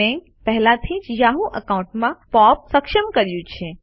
મેં પહેલેથી જ યાહૂ એકાઉન્ટમાં પોપ સક્ષમ કર્યું છે